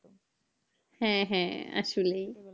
হ্যাঁ হ্যাঁ আসলে